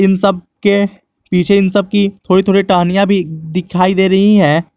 इन सब के पीछे इन सब की थोड़ी थोड़ी टहनियां भी दिखाई दे रही हैं।